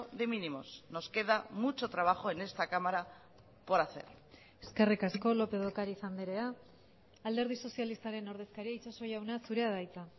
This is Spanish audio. de mínimos nos queda mucho trabajo en esta cámara por hacer eskerrik asko lópez de ocariz andrea alderdi sozialistaren ordezkaria itxaso jauna zurea da hitza